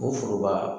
O foroba